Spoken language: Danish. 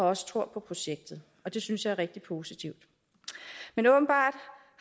også tror på projektet og det synes jeg er rigtig positivt men åbenbart